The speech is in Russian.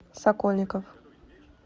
сокольников